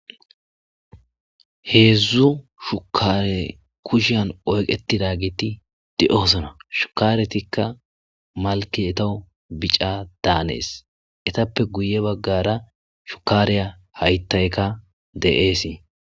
Heedzdzu shukare kushshiyan oyiqatizageti deosona shukaretika malike etawu bica danes etappe guye bagara shukariya hayitayika deasi.